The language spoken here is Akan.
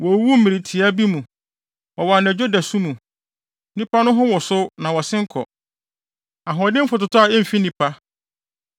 Wowuwu mmere tiaa bi mu, wɔ anadwo dasu mu; nnipa no ho wosow na wɔsen kɔ; ahoɔdenfo totɔ a emfi nipa.